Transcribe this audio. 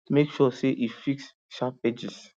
make sure say e fix sharp edges